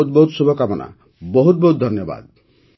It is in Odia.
ବହୁତ ବହୁତ ଶୁଭକାମନା ବହୁତ ବହୁତ ଧନ୍ୟବାଦ